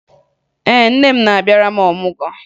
Ee, nne m na-abịara m ọmụgwọ